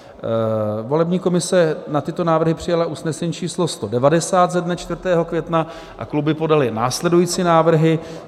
Volební komise na tyto návrhy přijala usnesení číslo 190 ze dne 4. května a kluby podaly následující návrhy: